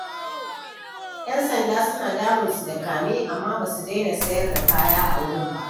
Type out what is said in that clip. Yan sanda suna damun su da kame, amma ba su daina sayar da kaya a wurin ba.